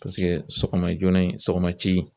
Paseke sɔgɔma joona in sɔgɔma ci